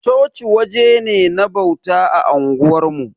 Chochi waje ne na bauta a unguwarmu.